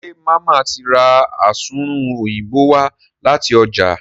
ṣe Mama tí rá Asunrun Òyìnbó wá láti ọjà?